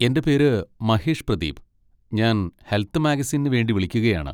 എൻ്റെ പേര് മഹേഷ് പ്രതീപ്, ഞാൻ ഹെൽത്ത് മാഗസിനിന് വേണ്ടി വിളിക്കുകയാണ്.